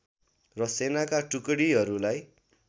र सेनाका टुकडीहरूलाई